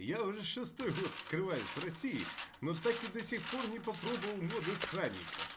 я уже шестой год скрываюсь в россии но так и до сих пор не попробовал воды странника же